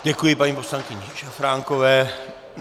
Děkuji paní poslankyni Šafránkové.